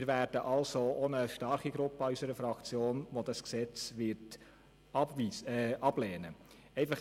Wir haben also auch eine starke Gruppe in unserer Fraktion, die das Gesetz ablehnen wird.